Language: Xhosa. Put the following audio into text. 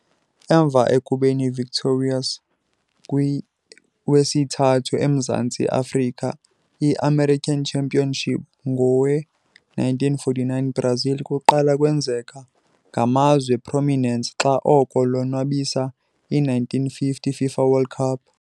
Emva ekubeni victorious kwi wesithathu emzantsi Afrika i-american Championship ngowe - 1949 Brazil kuqala kwenzeka ngamazwe prominence xa oko lonwabisa i - 1950 FIFA World Cup.